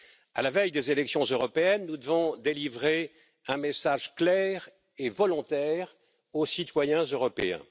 À la veille des élections européennes, nous devons délivrer un message clair et volontaire aux citoyens européens.